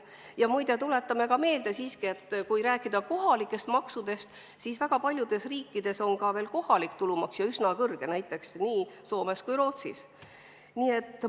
Ja muide, tuletame veel meelde, et kui rääkida maksudest, siis väga paljudes riikides, näiteks Soomes ja Rootsis, on veel ka kohalik tulumaks, ja üsna kõrge.